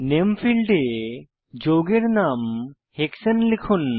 নামে ফীল্ডে যৌগের নাম হেক্সানে লিখুন